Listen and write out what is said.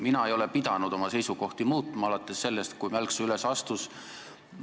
Mina ei ole pidanud oma seisukohti muutma alates sellest, kui Mälksoo üles astus.